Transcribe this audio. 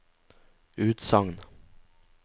utsagn